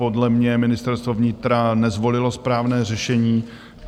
Podle mě Ministerstvo vnitra nezvolilo správné řešení.